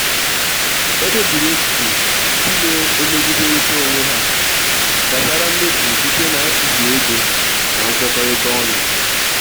ekpebiri echiche ndị na-emegiderịta onwe ha gbasara mmefu site n'atụzụ ego na nkwekọrịta ọnụ.